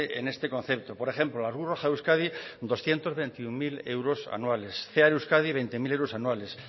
en este concepto por ejemplo la cruz roja de euskadi doscientos veintiuno mil euros anuales cear euskadi veinte mil euros anuales